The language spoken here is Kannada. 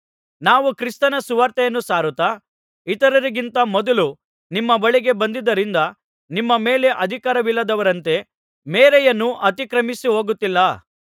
ನಾವು ಕ್ರಿಸ್ತನ ಸುವಾರ್ತೆಯನ್ನು ಸಾರುತ್ತಾ ಇತರರಿಗಿಂತ ಮೊದಲು ನಿಮ್ಮ ಬಳಿಗೆ ಬಂದದ್ದರಿಂದ ನಿಮ್ಮ ಮೇಲೆ ಅಧಿಕಾರವಿಲ್ಲದವರಂತೆ ಮೇರೆಯನ್ನು ಅತಿಕ್ರಮಿಸಿಹೋಗುತ್ತಿಲ್ಲ